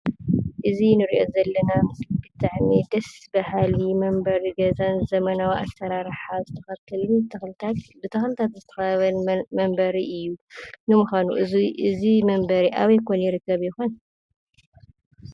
እዚ ንርኦ ዘለና ምስሊ ብጣዓሚ ደስ በሃሊ መንበሪ ገዛን ዘመናዊ ኣስራራሓ ብተኽልታት ተኽልታት ብተኽልታት ዝተኸበበን መንበሪ እዩ። ንምኳኑ እዚ እዚ መንበሪ ኣብይ ኮን ይርከብ ይኾን ?